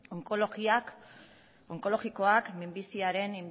onkologikoak minbiziaren